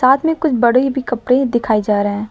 साथ में कुछ बड़े भी कपड़े दिखाए जा रहे हैं।